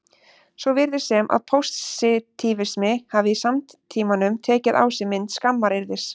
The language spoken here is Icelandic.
Svo virðist sem að pósitífismi hafi í samtímanum tekið á sig mynd skammaryrðis.